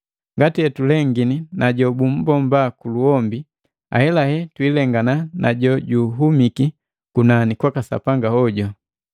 Ngati etulengini na jobumbomba kuluhombi, ahelahe twiilengana na jojuhumiki kunani kwaka Sapanga hoju.